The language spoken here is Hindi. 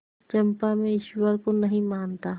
चंपा मैं ईश्वर को नहीं मानता